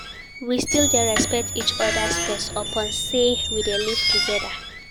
We still dey respect each oda space upon sey we dey live togeda.